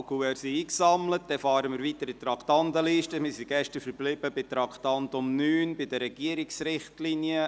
Wir sind gestern beim Traktandum 9 verblieben, bei den Regierungsrichtlinien.